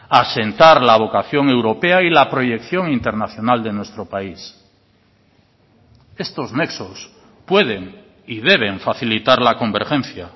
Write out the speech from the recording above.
asentar la vocación europea y la proyección internacional de nuestro país estos nexos pueden y deben facilitar la convergencia